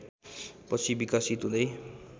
पछि विकसित हुँदै